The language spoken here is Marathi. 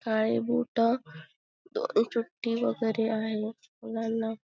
काळे बूट वैगेरे आहे मुलांना--